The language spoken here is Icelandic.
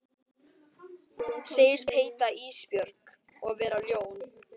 Segist heita Ísbjörg og vera ljón.